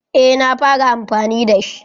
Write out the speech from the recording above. Eh na fara amfani da shi.